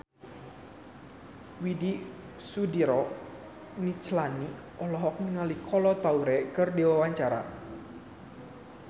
Widy Soediro Nichlany olohok ningali Kolo Taure keur diwawancara